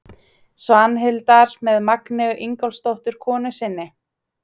Svanhildar með Magneu Ingólfsdóttur konu sinni.